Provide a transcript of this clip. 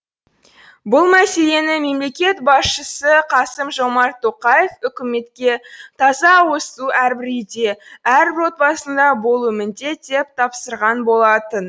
бұл мәселені мемлекет басшысы қасым жомарт тоқаев үкіметке таза ауызсу әрбір үйде әрбір отбасында болуы міндет деп тапсырған болатын